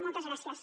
moltes gràcies